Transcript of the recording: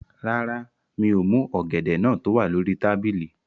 Rárá, mi ò mú ọ̀gẹ̀dẹ̀ náà tó wà lórí tábìlì